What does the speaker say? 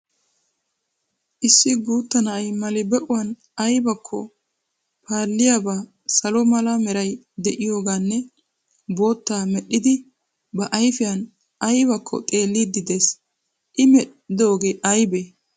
Issi guutta na'ay mali be'uwan ayibakko paalliyaabaa salo mala meray de'iyogaanne boottaa medhdhidi ba ayifiyan ayibakko xeelliiddi des. I medhdhoogee ayibe?